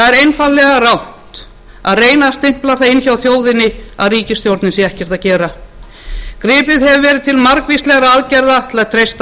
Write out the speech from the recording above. það er einfaldlega rangt að reyna að stimpla það inn hjá þjóðinni að ríkisstjórnin sé ekkert að gera gripið hefur verið til margvíslegra aðgerða til að treysta